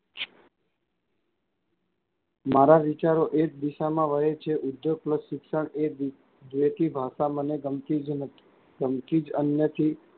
મારા વિચારો એજ દિશામાં વહે છે ઉદ્ધયોગપ્રોત શિક્ષણ એજ જેથી ભાષા મને ગમતી જ નથી ગમતી જ અ નથી.